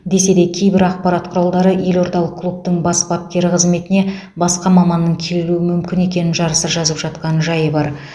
десе де кейбір ақпарат құралдары елордалық клубтың бас бапкері қызметіне басқа маманның келуі мүмкін екенін жарыса жазып жатқан жайы бар